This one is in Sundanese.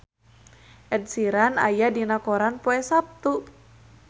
Ed Sheeran aya dina koran poe Saptu